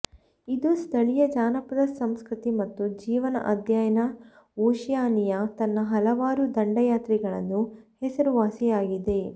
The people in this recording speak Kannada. ಇದು ಸ್ಥಳೀಯ ಜಾನಪದ ಸಂಸ್ಕೃತಿ ಮತ್ತು ಜೀವನ ಅಧ್ಯಯನ ಓಷಿಯಾನಿಯಾ ತನ್ನ ಹಲವಾರು ದಂಡಯಾತ್ರೆಗಳನ್ನು ಹೆಸರುವಾಸಿಯಾಗಿದೆ